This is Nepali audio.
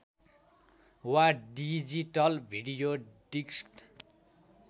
वा डिजिटल भिडियो डिस्क